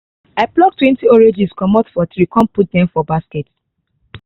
i pluck twenty oranges comot for tree con put dem for basket